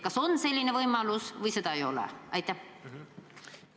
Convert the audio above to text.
Kas on selline võimalus või seda ei ole?